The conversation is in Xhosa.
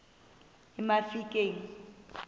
emafikeng